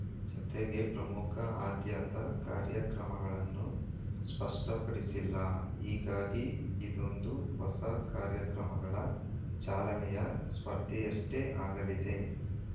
ಜತೆಗೆ ಪ್ರಮುಖ ಆದ್ಯತಾ ಕಾರ್ಯಕ್ರಮಗಳನ್ನೂ ಸ್ಪಷ್ಟಪಡಿಸಿಲ್ಲ ಹೀಗಾಗಿ ಇದೊಂದು ಹೊಸ ಕಾರ್ಯಕ್ರಮಗಳ ಚಾಲನೆಯ ಸ್ಪರ್ಧೆಯಷ್ಟೇ ಆಗಲಿದೆ